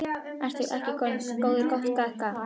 Ertu ekki orðinn gáttaður á mér.